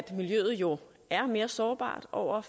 miljøet jo er mere sårbart over